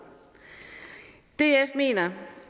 df mener